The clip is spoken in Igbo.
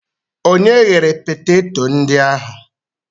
Onye ghere peteto ndị ahụ?